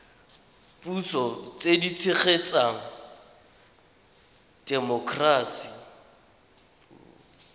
puso tse di tshegetsang temokerasi